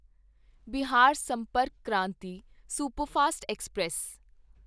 Bihar Sampark Kranti superfast express